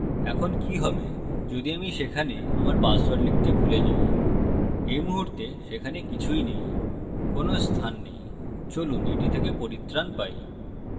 এখন কি হবে যদি আমি সেখানে আমার পাসওয়ার্ড লিখতে ভুলে যাই এই মুহুর্তে সেখানে কিছুই nowকোনো স্থান nowচলুন এটি থেকে পরিত্রান পাই